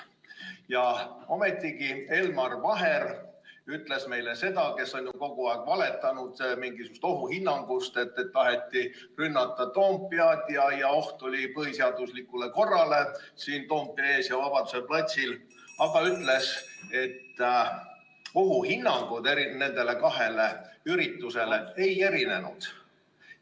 Ja ometigi Elmar Vaher, kes on ju kogu aeg valetanud, rääkides mingisugusest ohuhinnangust, et taheti rünnata Toompead ja et oli oht põhiseaduslikule korrale siin Toompea ees ja Vabaduse platsil, ütles, et ohuhinnangud nendele kahele üritusele ei erinenud.